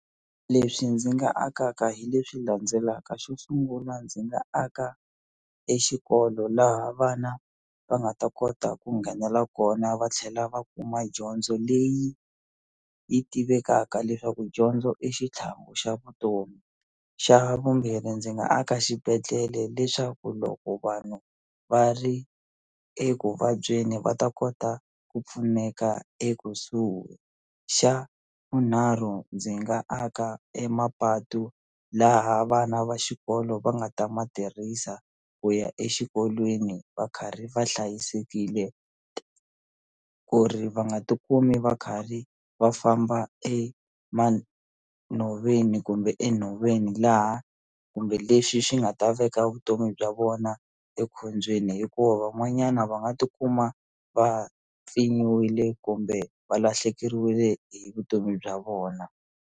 Leswi ndzi nga akaka hi leswi landzelaka xo sungula ndzi nga aka e xikolo laha vana va nga ta kota ku nghenela kona va tlhela va kuma dyondzo leyi yi tivekaka leswaku dyondzo i xitlhangu xa vutomi xa vumbirhi ndzi nga aka xibedhlele leswaku loko vanhu va ri ekuvabyeni va ta kota ku pfuneka ekusuhi xa vunharhu ndzi nga aka emapatu laha vana va xikolo va nga ta ma tirhisa ku ya exikolweni va karhi va hlayisekile ku ri va nga ti kumi va kharhi va famba e nhoveni kumbe enhoveni laha kumbe lexi xi nga ta veka vutomi bya vona ekhombyeni hikuva van'wanyana va nga ti kuma va pfinyiwile kumbe va lahlekeriwile hi vutomi bya vona.